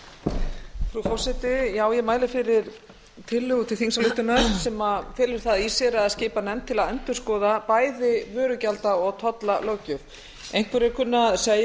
frú forseti ég mæli fyrir tillögu til þingsályktunar sem felur það í sér að skipa nefnd til að endurskoða bæði vörugjalda og tollalöggjöf einhverjir kunna að segja